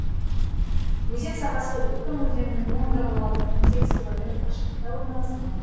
өзен сағасы уктым өзенінің оң жағалауынан он сегіз километр қашықтықта орналасқан